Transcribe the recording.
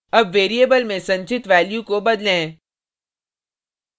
अब variable में संचित value को बदलें